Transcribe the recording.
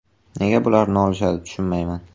Nega bular nolishadi, tushunmayman.